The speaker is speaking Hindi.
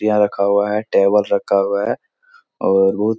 रखा हुआ है टेबल रखा हुआ है और बहुत --